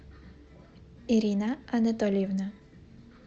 ирина анатольевна